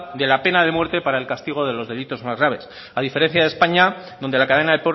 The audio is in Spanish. de la pena de muerte para el castigo de los delitos más graves a diferencia de españa donde la cadena